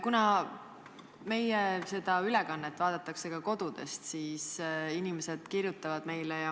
Kuna meie ülekannet vaadatakse ka kodudest, siis inimesed kirjutavad meile.